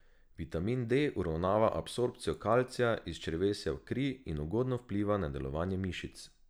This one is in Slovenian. Vitamin D uravnava absorpcijo kalcija iz črevesja v kri in ugodno vpliva na delovanje mišic.